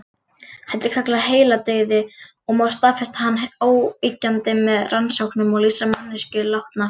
Þetta er kallað heiladauði og má staðfesta hann óyggjandi með rannsóknum og lýsa manneskjuna látna.